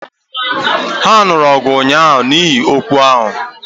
Ha nuru ọgụ ụnyahụ n’ihi okwu ahụ